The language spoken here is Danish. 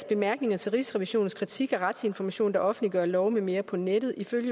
bemærkninger til rigsrevisionens kritik af retsinformation der offentliggør love med mere på nettet ifølge